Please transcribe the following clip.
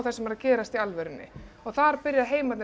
sem er að gerast í alvörunni og þar byrja heimarnir